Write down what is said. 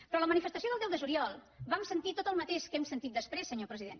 però a la manifestació del deu de juliol vam sentir tot el mateix que hem sentit després senyor president